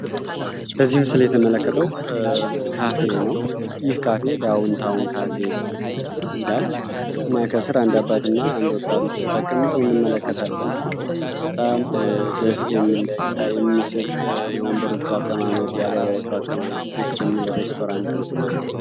በዚህ ምስል የተመለከተው ካፌ ነው። ይህ ካፌ ዳውን ታውን ካፌ ይላል እና ከሥር አንዳባት እና አንድወጣት ተቀምጠው እንመለከታለን። ጣም ደስ የሚለይታ የሚስብ የወንበሮቹ አቀማመጥ የአበባዎቹ አቀማመጥ ድስ የሚለ ሬስቶራንት ነው።